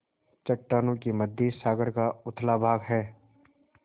चट्टानों के मध्य सागर का उथला भाग है